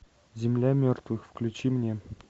земля мертвых включи мне